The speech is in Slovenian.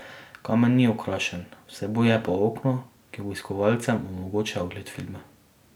Kamen ni okrašen, vsebuje pa okno, ki obiskovalcem omogoča ogled filma.